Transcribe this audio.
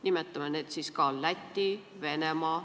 Nimetame need riigid siis ka, näiteks Läti ja Venemaa.